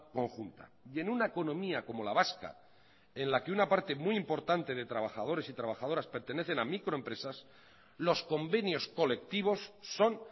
conjunta y en una economía como la vasca en la que una parte muy importante de trabajadores y trabajadoras pertenecen a microempresas los convenios colectivos son